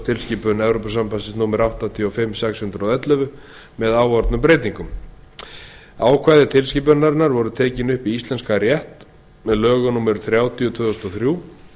verðbréfasjóðatilskipun evrópusambandsins númer áttatíu og fimm sex hundruð og ellefu með áorðnum breytingum ákvæði tilskipunarinnar voru tekin upp í íslenskan rétt með lögum númer þrjátíu tvö þúsund og þrjú